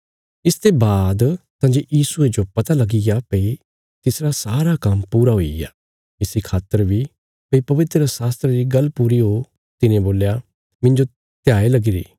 इसते बाद तंजे यीशुये जो पता लगीग्या भई तिसरा सारा काम्म पूरा हुईग्या इसी खातर बी भई पवित्रशास्त्रा री गल्ल पूरी हो तिने बोल्या मिन्जो ध्याय लगीरी